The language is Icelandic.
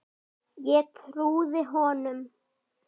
Ég trúði honum.